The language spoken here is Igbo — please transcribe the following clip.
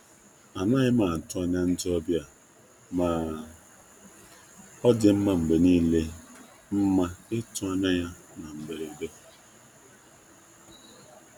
Anaghị m atụ anya onye nleta mana ọ na-adị mma na-adị mma mgbe niile ka erute na mberede.